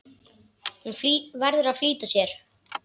Hún verður að flýta sér.